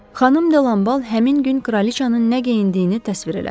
Xanım De Lambal həmin gün kraliçanın nə geyindiyini təsvir elədi.